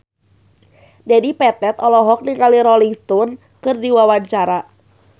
Dedi Petet olohok ningali Rolling Stone keur diwawancara